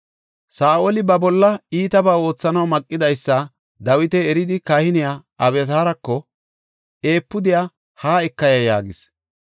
Saa7oli ba bolla iitaba oothanaw maqidaysa Dawiti eridi kahiniya Abyataarako, “Efuudiya haa eka ya” yaagis.